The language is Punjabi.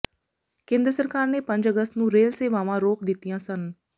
ਕੇਂਦਰ ਸਰਕਾਰ ਨੇ ਪੰਜ ਅਗੱਸਤ ਨੂੰ ਰੇਲ ਸੇਵਾਵਾਂ ਰੋਕ ਦਿਤੀਆਂ ਸਨ